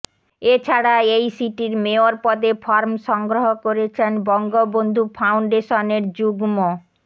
এ ছাড়া এই সিটির মেয়র পদে ফরম সংগ্রহ করেছেন বঙ্গবন্ধু ফাউন্ডেশনের যুগ্ম